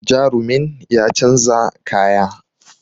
Jarumin ya canza kaya